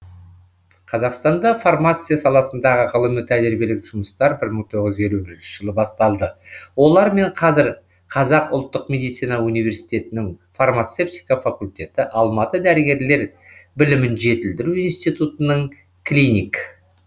қазақстанда фармация саласындағы ғылыми тәжірибелік жұмыстар бір мың тоғыз жүз елу бірінші жылы басталды олармен қазір қазақ ұлттық медицина унивеситетінің фармацевтика факультеті алматы дәрігерлер білімін жетілдіру институтының клиник